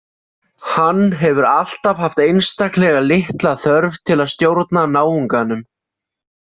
Hann hefur alltaf haft einstaklega litla þörf til að stjórna náunganum.